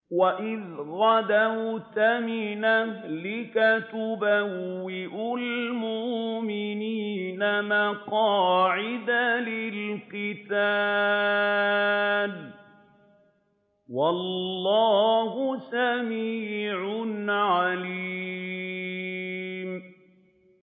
وَإِذْ غَدَوْتَ مِنْ أَهْلِكَ تُبَوِّئُ الْمُؤْمِنِينَ مَقَاعِدَ لِلْقِتَالِ ۗ وَاللَّهُ سَمِيعٌ عَلِيمٌ